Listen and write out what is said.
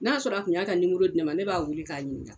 N'a sɔrɔ tun y'a ka nimoro di ne ma ne b'a weele k'a ɲininka.